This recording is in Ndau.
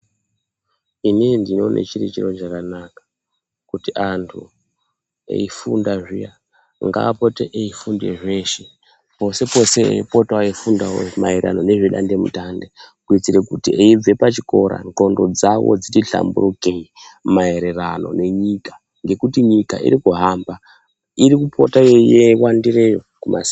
Inini ndinoone chiri chiro chakanaka kuti andu eyifunda zviya ndaapote eyifunde zveshe potse potse echifunda maererano nemidande mutande eyibve pachikora nqondo dzawo dzitihlambuke maererano nenyika ngekuti nyika iriku hamba irikupota yeyiwandiea